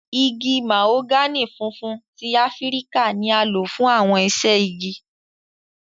Igi mahogani funfun ti Afirika ni a lo fun awọn iṣẹ-igi.